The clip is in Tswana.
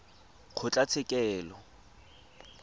kgotlatshekelo